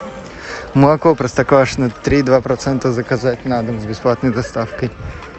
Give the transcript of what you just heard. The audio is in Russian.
молоко простоквашино три и два процента заказать на дом с бесплатной доставкой